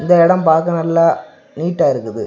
இந்த இடம் பாக்க நல்லா நீட்டா இருக்குது.